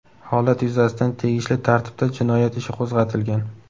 Holat yuzasidan tegishli tartibda jinoyat ishi qo‘zg‘atilgan.